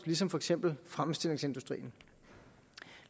ligesom for eksempel fremstillingsindustrien